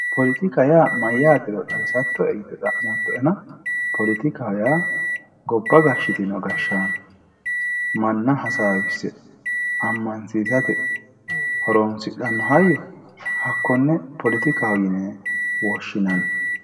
poletika yaa mayaatero xawissatoe yite xa'mooto"ena poletikaho yaa gobba gashitino gashaano manna hasaawisse amansiisate horonsixxannoha hakkonne poletikaho yine woshinanni